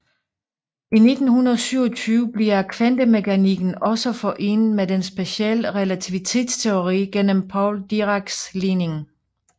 I 1927 bliver kvantemekanikken også forenet med den specielle relativitetsteori gennem Paul Diracs ligning